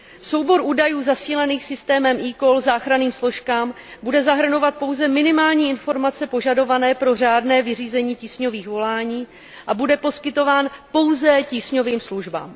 Soubor údajů zasílaných systémem eCall záchranným složkám bude zahrnovat pouze minimální informace požadované pro řádné vyřízení tísňových volání a bude poskytován pouze tísňovým službám.